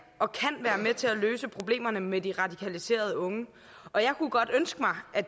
og kan være med til at løse problemerne med de radikaliserede unge og jeg kunne godt ønske mig at